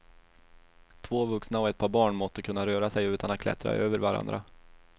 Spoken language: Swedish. Två vuxna och ett par barn måste kunna röra sig utan att klättra över varandra.